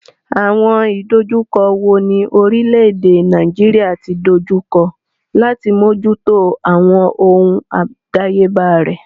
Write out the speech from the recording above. Àwọn ìdojúkọ wo ni orílẹ̀-èdè Nàìjíríà ti dojú kọ láti mójútó àwọn ohun àdáyébá rẹ̀?